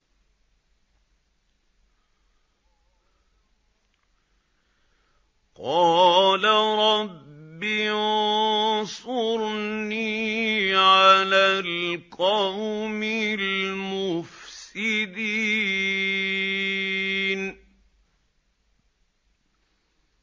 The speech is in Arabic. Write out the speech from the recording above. قَالَ رَبِّ انصُرْنِي عَلَى الْقَوْمِ الْمُفْسِدِينَ